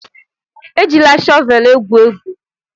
Ejila shọvelụ egwu egwu!